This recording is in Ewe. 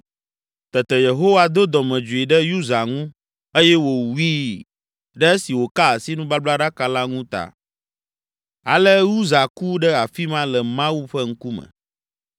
Tete Yehowa do dɔmedzoe ɖe Uza ŋu eye wòwui ɖe esi wòka asi nubablaɖaka la ŋu ta. Ale Uza ku ɖe afi ma le Mawu ƒe ŋkume.